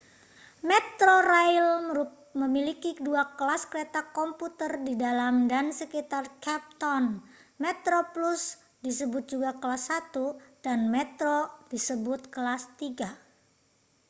metrorail memiliki dua kelas kereta komuter di dalam dan sekitar cape town: metroplus disebut juga kelas satu dan metro disebut kelas tiga